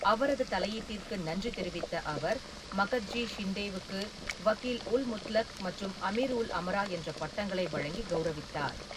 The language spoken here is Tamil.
அவரது தலையீட்டிற்கு நன்றி தெரிவித்த அவர், மகத்ஜி ஷிண்டேவுக்கு வக்கீல்-உல்-முத்லக் மற்றும் அமீர்-உல்-அமரா என்ற பட்டங்களை வழங்கி கௌரவித்தார்.